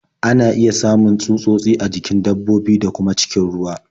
Ana iya samun tsutsotsi a jikin dabbobi, da kuma cikin ruwa.